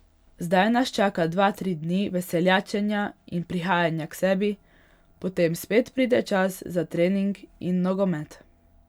Zdaj nas čaka dva, tri dni veseljačenja in prihajanja k sebi, potem spet pride čas za trening in nogomet.